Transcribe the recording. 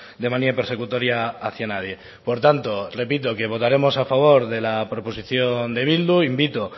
de manía persecutoria hacia nadie por tanto repito que votaremos a favor de la proposición de bildu invito